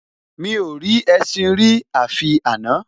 Mi ò rí ẹṣin rí àfi àná